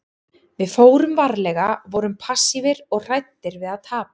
Við fórum varlega, vorum passífir og hræddir við að tapa.